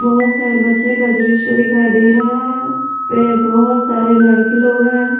बहुत सारे बच्चे का दृश्य दिखाई दे रहा है बहुत सारे लड़की लोग हैं।